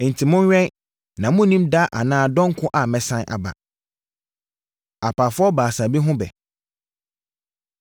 “Enti, monwɛn na monnim da anaa dɔn ko a mɛsane aba. Apaafoɔ Baasa Bi Ho Ɛbɛ